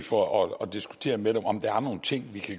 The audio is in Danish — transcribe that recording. for at